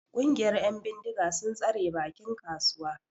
Ƙungiyar 'yan bindiga sun tsare bakin kasuwa.